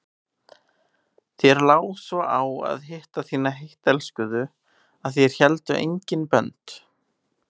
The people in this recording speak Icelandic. Þér lá svo á að hitta þína heittelskuðu að þér héldu engin bönd.